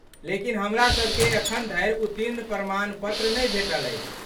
लेकिन हमरासभकेँ अखन धरि उत्तीर्ण प्रमाण पत्र नहि भेटल अछि।